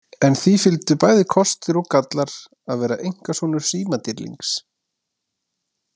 En því fylgdu bæði kostir og gallar að vera einkasonur símadýrlings.